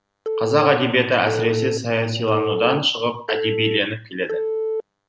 қазақ әдебиеті әсіресе саясиланудан шығып әдебиленіп келеді